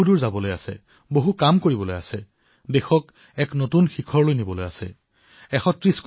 বহু দূৰলৈ যাবলগীয়া আছে দেশক নতুন উচ্চতাত অধিষ্ঠিত কৰিব লাগিব